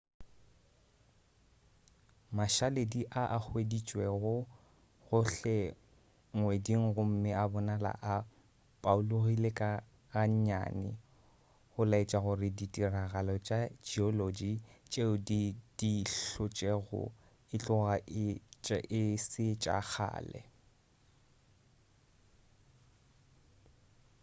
mašaledi a a hweditšwe gohle ngweding gomme a bonala a paologile ga nnyane go laetša gore ditiragalo tša geology tšeo di di hlotšego e tloga e se tša kgale